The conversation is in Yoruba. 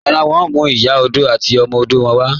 Rárá, wọn ǹ mú Ìyà ọdọ̀ àti ọmọ ọdọ̀ wọn wà